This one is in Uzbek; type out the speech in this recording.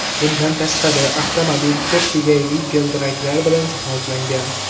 Bundan tashqari, avtomobil ko‘p kegayli g‘ildiraklar bilan jihozlangan.